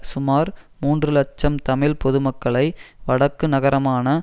சுமார் மூன்று இலட்சம் தமிழ் பொதுமக்களை வடக்கு நகரமான